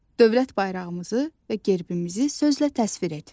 Dövlət bayrağımızı və gerbimizi sözlə təsvir et.